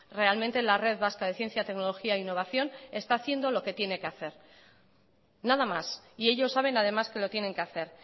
realmente la red vasca de ciencia tecnología e innovación está haciendo lo que tiene que hacer nada más y ellos saben además que lo tienen que hacer